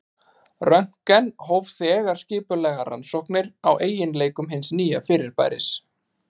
Röntgen hóf þegar skipulegar rannsóknir á eiginleikum hins nýja fyrirbæris.